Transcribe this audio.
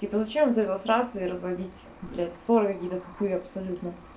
типа зачем из-за этого ругаться и разводить блядь ссоры какие-то тупые абсолютно